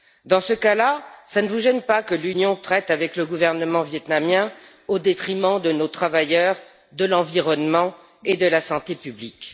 Dans ce cas là, cela ne vous gêne pas que l'Union traite avec le gouvernement vietnamien au détriment de nos travailleurs, de l'environnement et de la santé publique.